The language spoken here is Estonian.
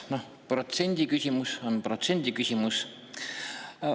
No protsendiküsimus on protsendiküsimus.